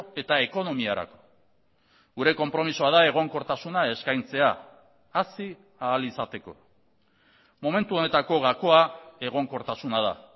eta ekonomiarako gure konpromisoa da egonkortasuna eskaintzea hazi ahal izateko momentu honetako gakoa egonkortasuna da